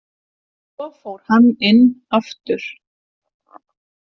Svo fór hann inn aftur.